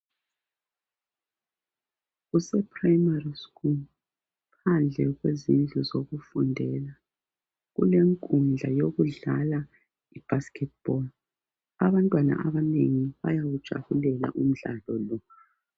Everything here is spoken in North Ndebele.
Kuse Primary school, phandle kwezindlu zokufundela kulenkundla yokudlala I basket ball. Abantwana abanengi bayawujabulela umdlalo lo.